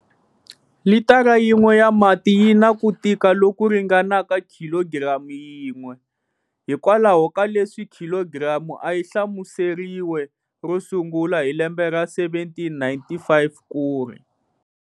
Litara yin'we ya mati yi na ku tika loku ringanaka khilogiramu yin'we, hi kwalaho ka leswi khilogiramu a yi hlamuseriwe ro sungula hi lembe ra 1795 kuri.